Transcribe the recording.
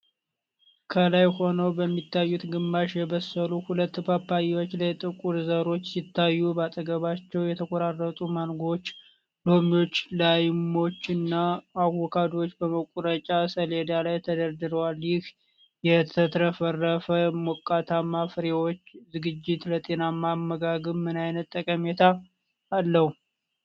ከላይ ሆነው በሚታዩት ግማሽ የበሰሉ ሁለት ፓፓያዎች ላይ ጥቁር ዘሮች ሲታዩ፣ በአጠገባቸው የተቆራረጡ ማንጎዎች፣ ሎሚዎች፣ ላይሞች እና አቮካዶዎች በመቁረጫ ሰሌዳ ላይ ተደርድረዋል፤ ይህ የተትረፈረፈ ሞቃታማ ፍራፍሬዎች ዝግጅት ለጤናማ አመጋገብ ምን አይነት ጠቀሜታ አለው?